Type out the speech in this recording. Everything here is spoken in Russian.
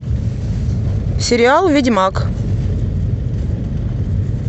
сериал ведьмак